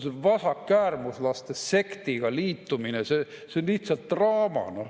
See vasakäärmuslaste sektiga liitumine on lihtsalt draama.